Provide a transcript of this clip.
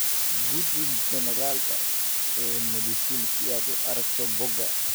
Guji joornaalka eMedicine si aad u aragto bogga.